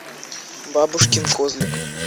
бабушкин козлик